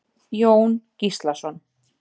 Jón Gíslason.